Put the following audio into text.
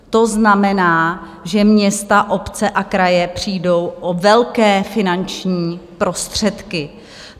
To znamená, že města, obce a kraje přijdou o velké finančních prostředky.